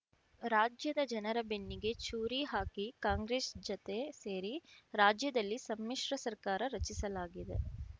ರಾಜ್ಯದ ಜನರ ಬೆನ್ನಿಗೆ ಚೂರಿ ಹಾಕಿ ಕಾಂಗ್ರೆಸ್ ಜತೆ ಸೇರಿ ರಾಜ್ಯದಲ್ಲಿ ಸಮ್ಮಿಶ್ರ ಸರ್ಕಾರ ರಚಿಸಲಾಗಿದೆ